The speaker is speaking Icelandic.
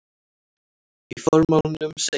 Í formálanum segir